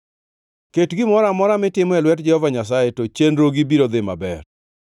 Ket gimoro amora mitimo e lwet Jehova Nyasaye, to chenrogi biro dhi maber.